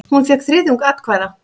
Hún fékk þriðjung atkvæða.